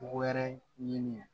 Wɛrɛ ɲini